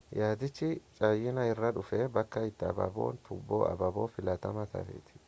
yaadichii chaayinaa irraa dhufee bakka itti abaabon tuuboo abaaboo filatamaa ta'etti